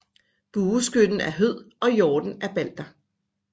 Bueskytten er Hød og hjorten er Balder